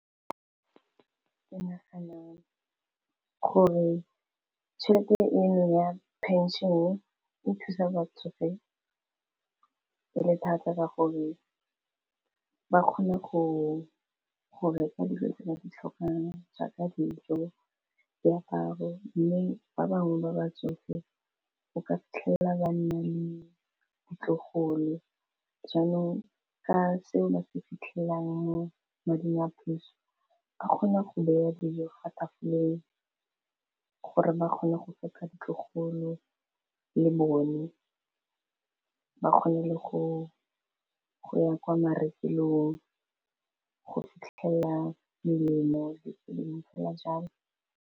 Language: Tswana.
Ke naganang gore tšhelete eno ya pension-e, e thusa batsofe e le thata ka gore ba kgone go reka dilo tse ba ditlhokang jaaka dijo, diaparo, mme ba bangwe ba ba tsofe o ka fitlhela ba nna le ditlogolo jaanong ke seo ba se fitlhelang mo mading a puso ba kgone go baya dijo fa tafoleng gore ba kgone go feta ditlogolo le bone ba kgone le go ya kwa marekelong go fitlhelela melemo dipalamo fela jalo.